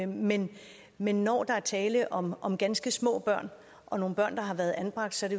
men men når der er tale om om ganske små børn og nogle børn der har været anbragt så er